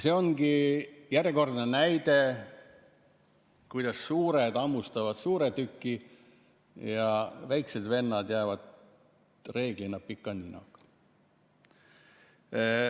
See ongi järjekordne näide, kuidas suured hammustavad suure tüki ja väikesed vennad jäävad reeglina pika ninaga.